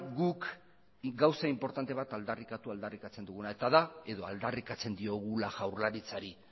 guk gauza inportante bat aldarrikatu aldarrikatzen duguna eta da edo aldarrikatzen diogula jaurlaritzari